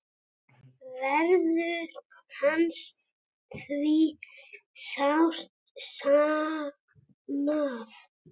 Verður hans því sárt saknað.